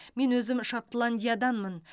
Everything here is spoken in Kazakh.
мен өзім шотландияданмын